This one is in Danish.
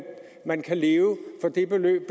man kan leve for det beløb